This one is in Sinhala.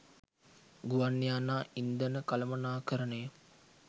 ගුවන් යානා ඉන්ධන කළමනාකරණය